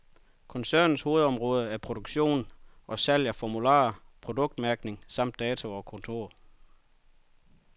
Koncernens hovedområde er produktion og salg af formularer, produktmærkning samt data og kontor.